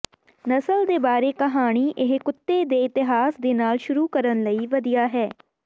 ਨਸਲ ਦੇ ਬਾਰੇ ਕਹਾਣੀ ਇਹ ਕੁੱਤੇ ਦੇ ਇਤਿਹਾਸ ਦੇ ਨਾਲ ਸ਼ੁਰੂ ਕਰਨ ਲਈ ਵਧੀਆ ਹੈ